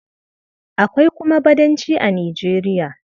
Akwai kuma Badanci a Nijeriya.